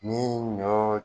Nii ɲɔ